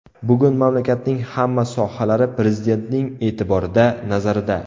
Bugun mamlakatning hamma sohalari Prezidentning e’tiborida, nazarida.